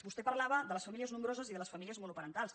vostè parlava de les famílies nombroses i de les famílies monoparentals